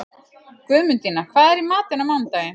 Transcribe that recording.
Guðmundína, hvað er í matinn á mánudaginn?